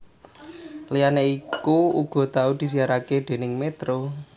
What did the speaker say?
Liyane iku uga tau disiarake déning Metro